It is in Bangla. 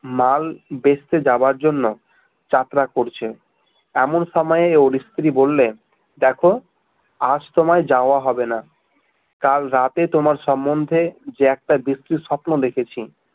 মাল বেচতে যাওয়ার জন্য যাত্রা করছে এমন সময় ওর স্ত্রী বললে দেখো আজ তোমার যাওয়া হবে না কাল রাতে তোমার সম্বন্ধে যে একটা বিশ্রী স্বপ্ন দেখেছি